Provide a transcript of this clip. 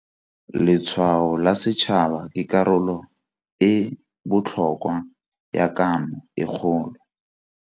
Letshwao la Setšhaba ke karolo e e botlhokwa ya Kano e Kgolo.